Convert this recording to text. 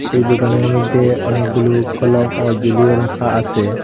সেই দুকানের মইধ্যে অনেকগুলো কলমও জুলিয়ে রাখা আসে।